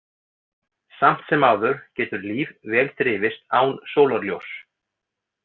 Samt sem áður getur líf vel þrifist án sólarljóss.